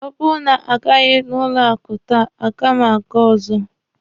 Ọ bụrụ na a gaghị n'ụlọ akụ taa, a gaghị m aga ọzọ.